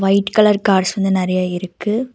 White colour cars வந்து நறைய இருக்கு.